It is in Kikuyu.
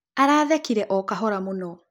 Arathekĩre o kahora mũno